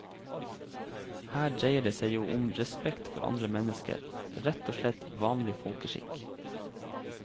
Her dreier det seg jo om respekt for andre mennesker, rett og slett vanlig folkeskikk.